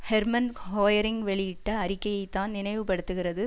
Herman Goering வெளியிட்ட அறிக்கையைத்தான் நினைவு படுத்துகிறது